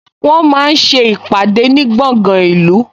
Wọ́n máa ń ṣe ìpàdé ní gbọ̀ngan ìlú